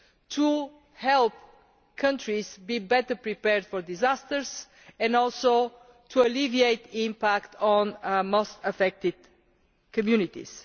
used to help countries to be better prepared for disasters, and also to alleviate the impact on the most affected communities.